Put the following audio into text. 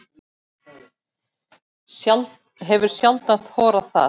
Hefur sjaldan þorað það.